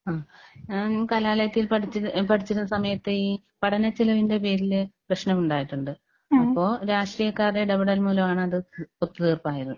ആഹ് ഞാൻ കലാലയത്തിൽ പഠിച്ചി പഠിച്ചിരുന്ന സമയത്ത് ഈ പഠന ചിലവിന്റെ പേരില് പ്രശ്നമുണ്ടായിട്ടുണ്ട്. അപ്പോ രാഷ്ട്രീയക്കാരുടെ ഇടപെടൽ മൂലമാണ് അത് ഒത്തുതീർപ്പായത്.